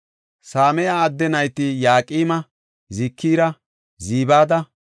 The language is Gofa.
Same7a adde nayti Yaqma, Zikira, Zibada